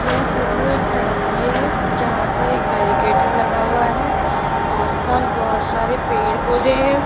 यह फोटो एक सड़क की है जहां पर एक बैरिकेटर लगा हुआ है आस पास बहोत सारे पेड़ पौधे है।